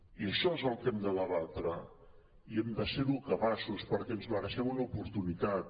i això és el que hem de debatre i hem de ser capaços perquè ens mereixem una oportunitat